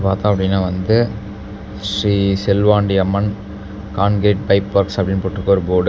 பாத்தோம் அப்படின்னா வந்து Sri Selvandi Amman concrete pipe works அப்படின்னு போட்டுருக்கு ஒரு போர்டு .